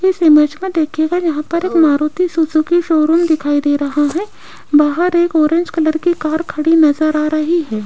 इस इमेज में देखिएगा यहां पर एक मारुति सुजुकी शोरूम दिखाई दे रहा है बाहर एक ऑरेंज कलर की कार खड़ी नजर आ रही है।